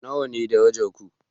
Nawa ne darajar ku?